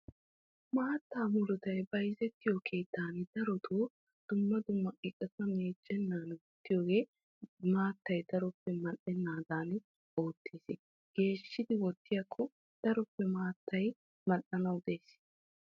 Maata muruttay bayzzettiyo keettan darotto buquratta meecennan wottiyooge maattay mooretanaddan qassikka hargge oyqqanaddan oottees.